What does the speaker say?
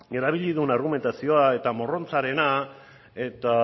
erabili duen argumentazioa eta morrontzarena eta